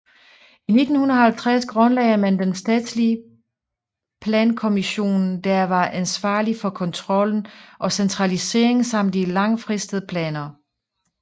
I 1950 grundlagde man den statslige plankommissionen der var ansvarlig for kontrollen og centraliseringen samt de langfristede planer